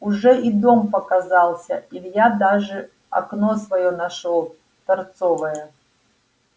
уже и дом показался илья даже окно своё нашёл торцевое